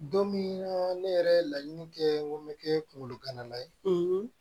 Don min ne yɛrɛ ye laɲini kɛ n ko n bɛ kɛ kungolo gana la ye